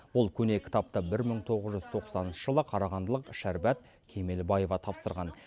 бұл көне кітапты бір мың тоғыз жүз тоқсаныншы жылы қарағандылық шәрбат кемелбаева тапсырған